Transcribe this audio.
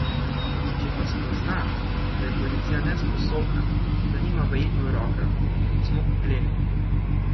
Če pa spozna, da je policija nesposobna, da nima vajeti v rokah, smo opleli.